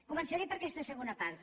començaré per aquesta segona part